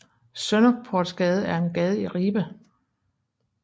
Sønderportsgade er en gade i Ribe